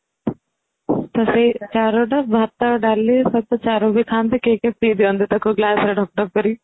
ତ ସେଇ ଚରୁ ଟା ଭାତ ଡାଲି ସହିତ ଚରୁ ବି ଖାଆନ୍ତି କେହି କେହି ପିଇ ବି ଦିଅନ୍ତି glassରେ ଢକ ଢକ କରି